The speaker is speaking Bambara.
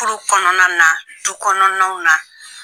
kɔnɔna na du kɔnɔnaw na